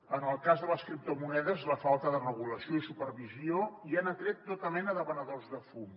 en el cas de les criptomonedes la falta de regulació i supervisió ja han atret tota mena de venedors de fum